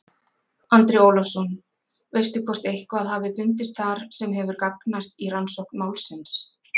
Andri Ólafsson: Veistu hvort eitthvað hafi fundist þar sem hefur gagnast í rannsókn málsins?